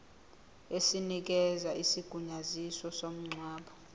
esinikeza isigunyaziso somngcwabo